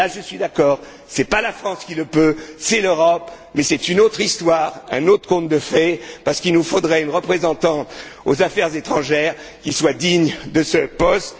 Sur ce point, je suis d'accord, ce n'est pas la France qui le peut, c'est l'Europe, mais c'est une autre histoire, un autre conte de fées parce qu'il nous faudrait une représentante aux affaires étrangères qui soit digne de ce poste.